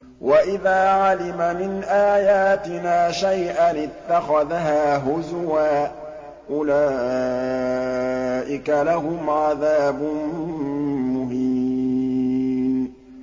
وَإِذَا عَلِمَ مِنْ آيَاتِنَا شَيْئًا اتَّخَذَهَا هُزُوًا ۚ أُولَٰئِكَ لَهُمْ عَذَابٌ مُّهِينٌ